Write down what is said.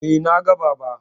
Eh, na ga Baba.